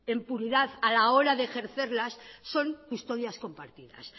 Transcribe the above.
en puridad a la hora de ejercerlas son custodias compartidas